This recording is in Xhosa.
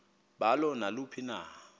balo naluphi na